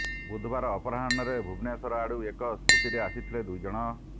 ବୁଧବାର ଅପରାହ୍ଣରେ ଭୁବନେଶ୍ୱର ଆଡୁ ଏକ ସ୍କୁଟିରେ ଆସିଥିଲେ ଦୁଇ ଜଣ